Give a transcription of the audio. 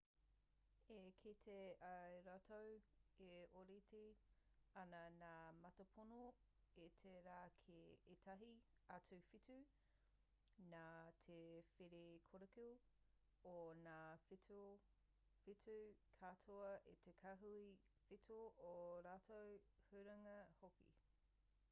i kite ai rātou e ōrite ana ngā mātāpono o te rā ki ētahi atu whetū nā te whērikoriko o ngā whetū katoa o te kāhui whetū ō rātou huringa hoki